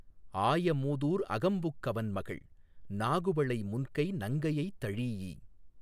ஆய மூதூர் அகம்புக் கவன்மகள் நாகுவளை முன்கை நங்கையைத் தழீஇப்